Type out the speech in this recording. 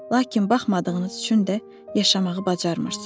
Lakin baxmadığınız üçün də yaşamağı bacarmırsız.